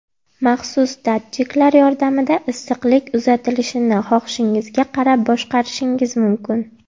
Maxsus datchiklar yordamida issiqlik uzatilishini xohishingizga qarab boshqarishingiz mumkin.